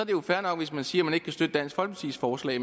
jo fair nok hvis man siger at man ikke vil støtte dansk folkepartis forslag